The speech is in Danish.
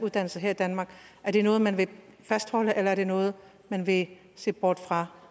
dansk her i danmark er det noget man vil fastholde eller er det noget man vil se bort fra